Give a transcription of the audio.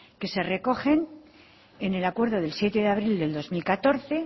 que se recogen en el acuerdo del siete de abril del dos mil catorce